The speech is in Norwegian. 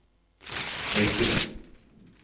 Haukeland